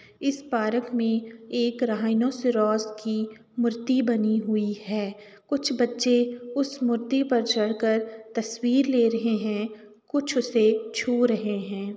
इस पारक में एक राईनोसोरौस की मूर्ति बनी हुई है। कुछ बच्चे उस मूर्ति पर चढ़कर तस्वीर ले रहे हैं। कुछ उसे छू रहे हैं।